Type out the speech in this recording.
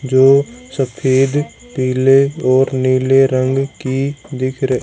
जो सफेद पीले और नीले रंग की दिख रह--